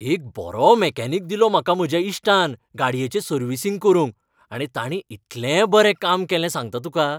एक बरो मॅकॅनिक दिलो म्हाका म्हज्या इश्टान गाडयेचें सर्विसिंग करूंक, आनी ताणें इतलें बरें काम केलें सांगता तुका.